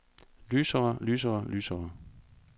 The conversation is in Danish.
lysere lysere lysere